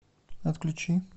отключи